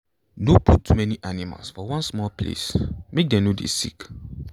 no put too many animals for one small place make dem no dey sick.